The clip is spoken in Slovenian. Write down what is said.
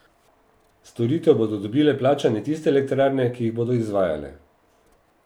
Storitev bodo dobile plačane tiste elektrarne, ki jih bodo izvajale.